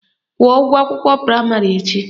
Kwụọ ụgwọ akwụkwọ praịmarị echi!